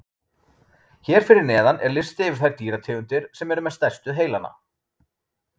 Hér fyrir neðan er listi yfir þær dýrategundir sem eru með stærstu heilana.